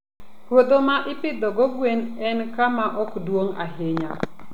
Puodho ma ipidhogo gwen en kama ok duong' ahinya.